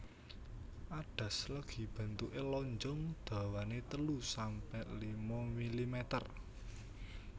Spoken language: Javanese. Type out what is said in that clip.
Adas legi bentuke lonjong dawane telu sampe lima milimeter